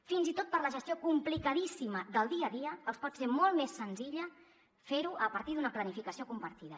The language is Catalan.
fins i tot per a la gestió complicadíssima del dia a dia els pot ser molt més senzill fer ho a partir d’una planificació compartida